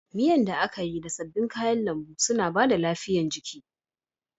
Miyan da aka yi da sabbin kayan lambu suna bada lafiya jiki